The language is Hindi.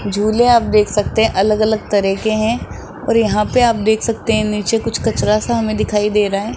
झूले आप देख सकते हैं अलग अलग तरह के हैं और यहां पे आप देख सकते हैं नीचे कुछ कचरा सा हमें दिखाई दे रहा है।